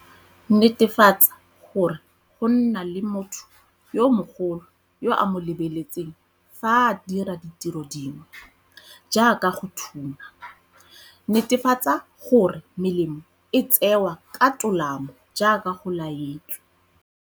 Netefatsa gore go nna le motho yo mogolo yo a mo lebeletseng fa a dira ditiro dingwe, jaaka go thuma. Netefatsa gore melemo e tsewa ka tolamo jaaka go laetswe.